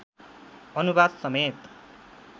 अनुवाद समेत